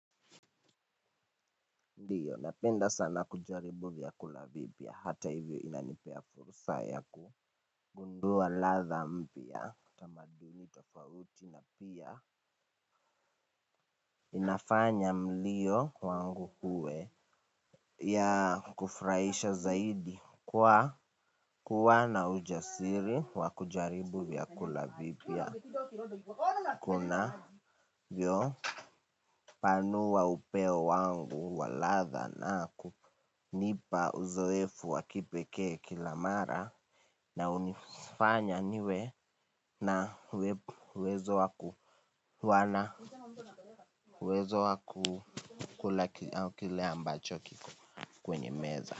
Ndiyo napenda sana kujaribu vyakula vipya. Hata hivyo inanipea fursa yaku gundua latha mpya tamaduni tofauti na pia, inafanya mlio, wangu uwe ya kufraisha zaidi kwa, kuwa na ujasiri, wakujaribu vya kulavipya. Kuna vyo, panua upeo wangu, wa latha nakunipa uzoefu wakipekee kila mara, na unifnya niwe, na, wezo wakuwana uwezo waku kula kile ambacho kiko kwenye meza.